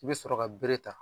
I bɛ sɔrɔ ka bere ta